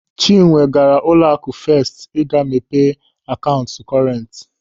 Chinwe gaara n'ụlọaku Fest ịga mepe akaụntụ kọrent.